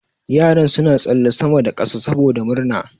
Yaran suna tsalle sama da kasa saboda murna.